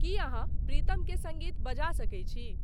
की अहाँप्रीतम के संगीत बजा सके छी